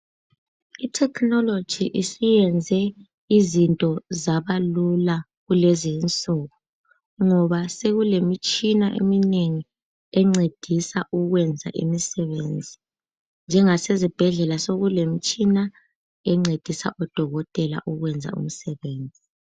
Ithekhinoloji isiyenze izinto zabalula kulezinsuku ngoba sekulemitshina eminengi encedisa ukwenza imisebenzi njengasezibhedlela sekulemitshina encedisa odokotela ukwenza umsebenzi.